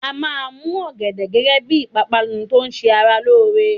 A máa mú ọ̀gẹ̀dẹ̀ gẹ́gẹ́ bí ìpápánu tó ṣẹ ara lóore.